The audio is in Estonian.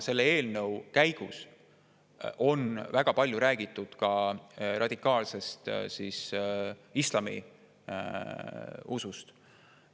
Selle eelnõu käigus on väga palju räägitud ka radikaalsest islamiusust.